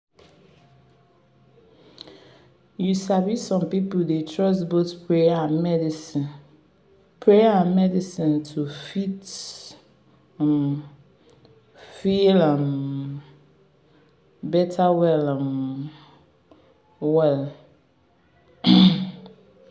you sabi some pipo dey trust both prayer and medicine prayer and medicine to fit um feel um better well um well.